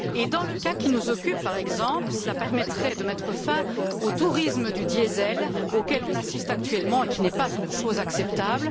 Dans le cas qui nous occupe, par exemple, cela permettrait de mettre fin au tourisme du diesel auquel on assiste actuellement, qui n'est pas une chose acceptable.